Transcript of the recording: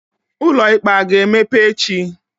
Ụlọikpe a ga-emepe echi?